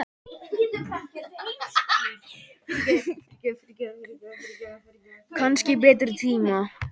Kannski betri tíma.